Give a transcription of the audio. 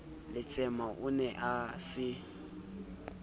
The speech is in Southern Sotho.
letsema o ne a se